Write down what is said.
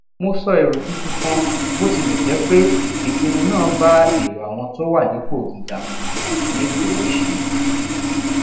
mo sọ èrò tuntun kan bó tilè jé pé ìpinnu náà bá èrò àwọn tó wà nípò gíga mu nígbòóṣe